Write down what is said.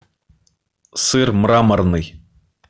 сыр мраморный